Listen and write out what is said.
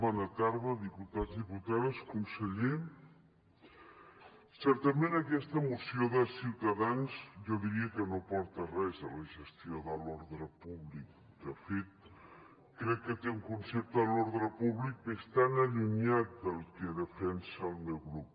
bona tarda diputats diputades conseller certament aquesta moció de ciutadans jo diria que no aporta res a la gestió de l’ordre públic de fet crec que té un concepte de l’ordre públic bastant allunyat del que defensa el meu grup